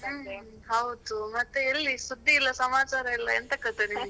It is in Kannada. ಹ್ಮ್, ಹೌದು ಮತ್ತೆ ಎಲ್ಲಿ ಸುದ್ದಿ ಇಲ್ಲ ಸಮಾಚಾರ ಇಲ್ಲ, ಎಂಥ ಕತೆ ನಿಮ್ದು?